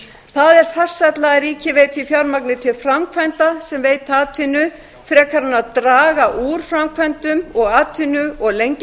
það er farsælla að ríkið veiti fjármagni til framkvæmda sem veita atvinnu frekar en að draga úr framkvæmdum og atvinnu og lengja